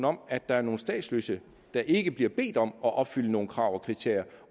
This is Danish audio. om at der er nogle statsløse der ikke bliver bedt om at opfylde nogle krav og kriterier